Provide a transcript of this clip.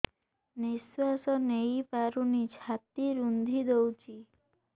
ନିଶ୍ୱାସ ନେଇପାରୁନି ଛାତି ରୁନ୍ଧି ଦଉଛି